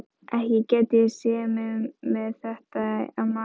Ekki gæti ég séð mig með þetta á maganum.